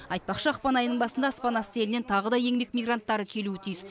айтпақшы ақпан айының басында аспан асты елінен тағы да еңбек мигранттары келуі тиіс